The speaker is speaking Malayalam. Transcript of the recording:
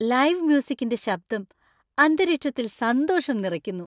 ലൈവ് മ്യൂസിക്കിന്‍റെ ശബ്ദം അന്തരീക്ഷത്തില്‍ സന്തോഷം നിറയ്ക്കുന്നു.